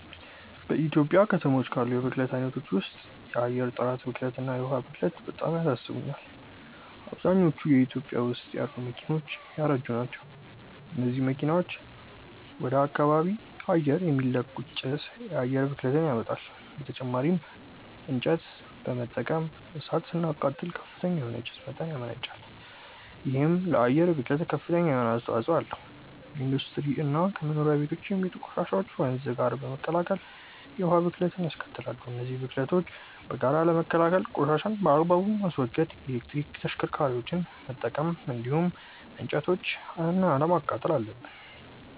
በኢትዮጵያ ከተሞች ካሉ የብክለት አይነቶች ውስጥ የአየር ጥራት ብክለት እና የዉሃ ብክለት በጣም ያሳስቡኛል። አብዛኞቹ ኢትዮጵያ ውስጥ ያሉ መኪናዎች ያረጁ ናቸው። እነዚህ መኪናዎች ወደ ከባቢ አየር የሚለቁት ጭስ የአየር ብክለትን ያመጣል። በተጨማሪም እንጨት በመጠቀም እሳት ስናቃጥል ከፍተኛ የሆነ የጭስ መጠን ያመነጫል። ይሄም ለአየር ብክለት ከፍተኛ የሆነ አስተዋጽኦ አለው። ከኢንዱስትሪ እና ከመኖሪያ ቤቶች የሚወጡ ቆሻሻዎችም ወንዝ ጋር በመቀላቀል የውሃ ብክለትንያስከትላሉ። እነዚህን ብክለቶች በጋራ ለመከላከል ቆሻሻን በአግባቡ ማስወገድ፣ የኤሌክትሪክ ተሽከርካሪዎችን መጠቀም እንዲሁም እንጨቶችን አለማቃጠል አለብን።